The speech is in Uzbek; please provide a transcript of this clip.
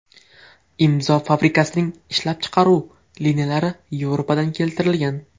Imzo fabrikasining ishlab chiqaruv liniyalari Yevropadan keltirilgan.